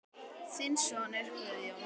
Þinn sonur Guðjón.